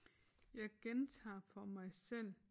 Jeg gentager for mig selv